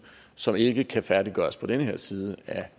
som ikke kan færdiggøres på den her side af